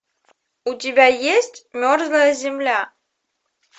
у тебя есть мерзлая земля